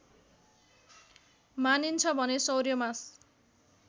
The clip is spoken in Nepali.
मानिन्छ भने सौर्यमास